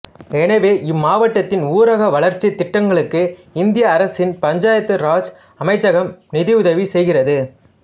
எனவே இம்மாவட்டத்தின் ஊரக வளர்ச்சித் திட்டங்களுக்கு இந்திய அரசின் பஞ்சாயத்து ராஜ் அமைச்சகம் நிதியுதவி செய்கிறது